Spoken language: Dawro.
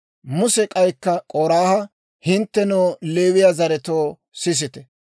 Muse k'aykka K'oraaha, «Hinttenoo Leewiyaa zaretoo, sisite!